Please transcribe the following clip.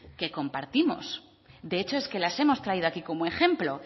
que compartimos de hecho es que las hemos traído aquí como ejemplo